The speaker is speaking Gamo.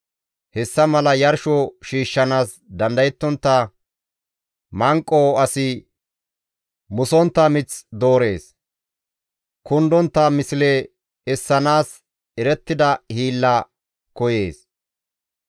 Hessa mala yarsho shiishshanaas dandayontta manqo asi musontta mith doorees; kundontta misle essanaas erettida hiilla koyees.